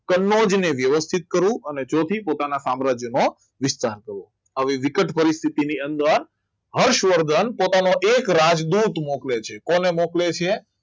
કનોજ ને વ્યવસ્થિત કરવું અને ચોથી પોતાના સામ્રાજ્યનો વિસ્તાર કરો. આવી વિકટ પરિસ્થિતિ ની અંદર હર્ષવર્ધન પોતાનો એક રાજદૂત મોકલે છે કોને મોકલે છે